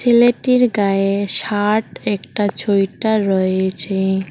ছেলেটির গায়ে শার্ট একটা ছোয়েটার রয়েছে।